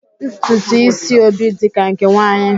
Ntutu ísí Obi dị ka nke nwaanyị